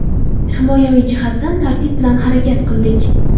Himoyaviy jihatdan tartib bilan harakat qildik.